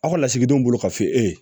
Aw ka lasigidenw bolo ka se e ye